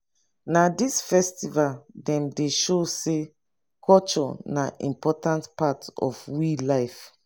na dis festival dem dey show sey culture na important part of we life.